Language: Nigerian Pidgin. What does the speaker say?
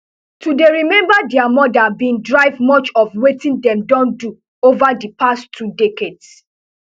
to dey remember dia mothers bin drive much of wetin dem don do over di past two decades